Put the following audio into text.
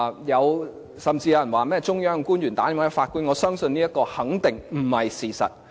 有人指有中央官員致電法官，提出要求，我相信這肯定不是事實。